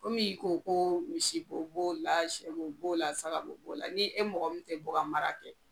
Kɔmi i ko , ko misi bo b'o la, sɛ bo b'o la, sa b'o la, saka bo b'o la . Ni e mɔgɔ min tɛ bɔ ka bakan mara kɛ